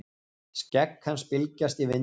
Skegg hans bylgjast í vindinum.